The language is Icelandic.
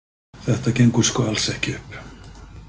Þetta gengur sko alls ekki upp!